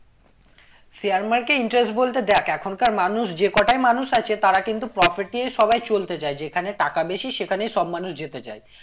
share market এ interest বলতে দেখ এখনকার মানুষ যে কটাই মানুষ আছে তারা কিন্তু profit এই সবাই চলতে চায় যেখানে টাকা বেশি সেখানেই সব মানুষ যেতে চায়